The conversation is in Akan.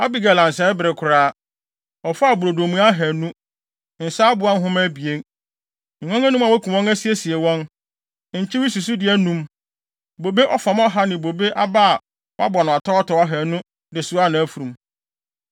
Abigail ansɛe bere koraa. Ɔfaa brodo mua ahannu, nsa aboa nhoma abien, nguan anum a wɔakum wɔn asiesie wɔn, nkyewe susude anum, bobe ɔfam ɔha ne bobe aba a wɔabɔ no atɔwatɔw ahannu de soaa mfurum.